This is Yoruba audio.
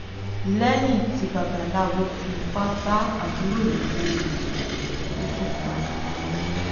lẹ́yìn tí babaláwo fipá bá àbúrò ìyàwó rẹ̀ sùn ó tún pa ìyá wọn